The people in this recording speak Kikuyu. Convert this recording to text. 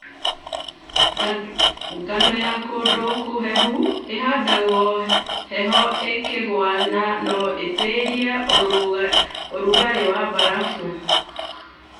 Ngano ya kũndũkũhehu ĩhandagwo heho ĩkĩgwa na no ĩtirie ũrũgarĩ wa mbarabu.